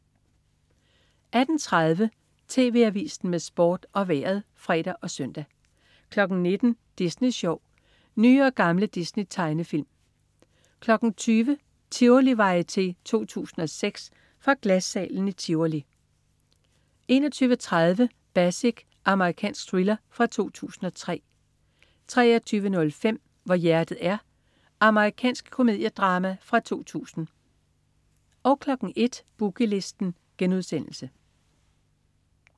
18.30 TV Avisen med Sport og Vejret (fre og søn) 19.00 Disney Sjov. Nye og gamle Disney-tegnefilm 20.00 Tivolivarieté 2006. Fra Glassalen i Tivoli 21.30 Basic. Amerikansk thriller fra 2003 23.05 Hvor hjertet er. Amerikansk komediedrama fra 2000 01.00 Boogie Listen*